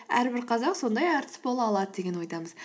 әрбір қазақ сондай әртіс бола алады деген ойдамыз